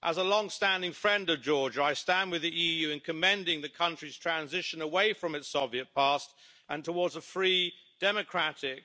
As a long standing friend of Georgia, I stand with the EU in commending the country's transition away from its Soviet past and towards a free, democratic